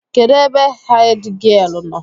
Kedụ ebe hèdgịelu nọ?